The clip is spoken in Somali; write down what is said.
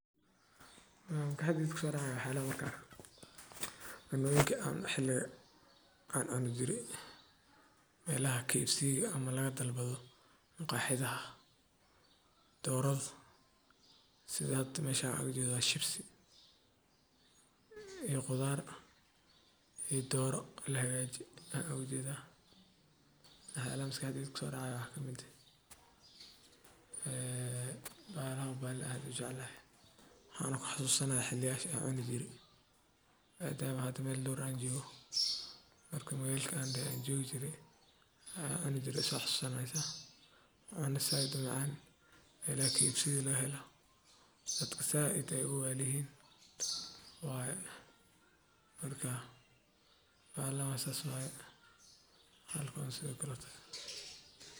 Maxa maskaxdeyda kuso dacayaa markan arkoo melaha kfciga ama maqaxiyadha laga dalbado doraada. Maqaaxiyo badan ayaa sidoo kale bixiya dooro la socota bariis, baasto, rooti ama chips, si loogu qanciyo dhadhanka dadka kala duwan. Waxaa intaa dheer in dalabyada badankood lagu xoojiyo cabitaan, suugada macaan ama kulul, iyo adeeg degdeg ah. Dalabyadaasi waxay noqon karaan kuwo joogto ah ama xilliyo gaar ah la bixiyo si loo soo jiito macaamiil badan. Maqaaxiyo badan ayaa tartan ugu jira bixinta dooro tayo fiican leh.